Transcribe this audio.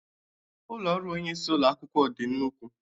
Ụlọ ọrụ onye isi ụlọ ako dị nnukwu